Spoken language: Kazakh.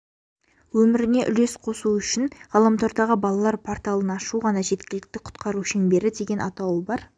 өміріне үлес қосу үшін ғаламтордағы балалар порталын ашу ғана жеткілікті құтқару шеңбері деген атауы бар